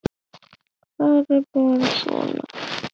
Það er bara svona.